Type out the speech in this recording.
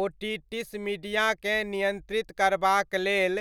otitis मीडियाकेँ नियन्त्रित करबाक लेल